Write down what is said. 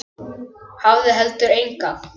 Hafði heldur enga.